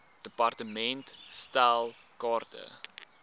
department stel kaarte